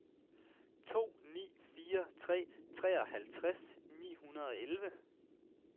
to ni fire tre treoghalvtreds ni hundrede og elleve